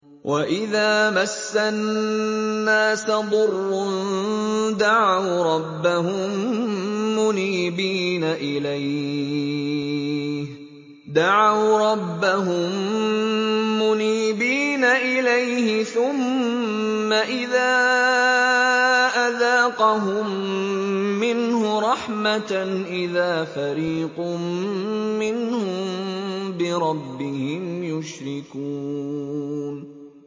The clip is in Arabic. وَإِذَا مَسَّ النَّاسَ ضُرٌّ دَعَوْا رَبَّهُم مُّنِيبِينَ إِلَيْهِ ثُمَّ إِذَا أَذَاقَهُم مِّنْهُ رَحْمَةً إِذَا فَرِيقٌ مِّنْهُم بِرَبِّهِمْ يُشْرِكُونَ